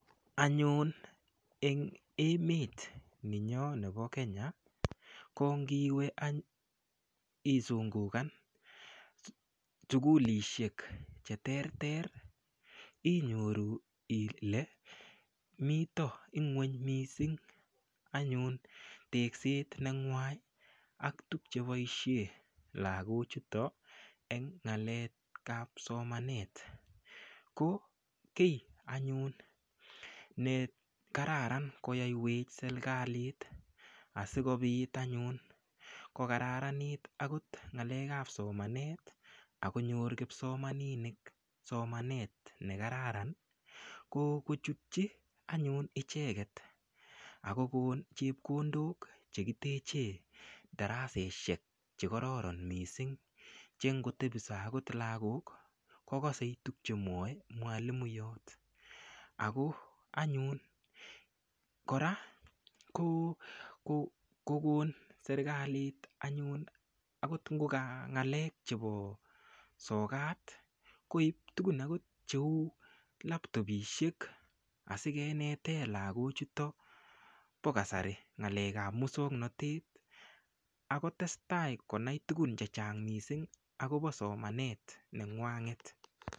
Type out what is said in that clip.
Anyun eng emet ni nyoo nebo Kenya ko ngiwe anyun isungukan sukulishek che ter ter inyoru ile mito ng'weny mising anyun tekset nengwany ak tukche boishe lakochuto eng ng'alek ap somanet ko kiy anyun ne kararan koyoiwech serikalit asikobit anyun kokararanit akot ngalek ap somanet akonyor kipsomaninik somanet nekararan ko kochutchi anyun icheket akokon chepkondok chekiteche daraseshek chekororon mising chengotebiso akot lakok kokosei tukchemuoe mwalimuyot ako anyun kora ko kokokon serikalit anyun akot ngoka ng'alek chebo sokat koiptukun akot cheu laptopishek asikenete lakochuto po kasari ng'alek ap musongnotet akotestai konai tukun che chang mising akobo somanet nengwanget.